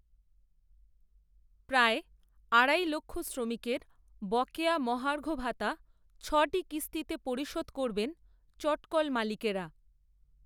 প্রায়, আড়াই লক্ষ শ্রমিকের বকেয়া মহার্ঘ ভাতা, ছটি কিস্তিতে পরিশোধ করবেন, চটকলমালিকেরা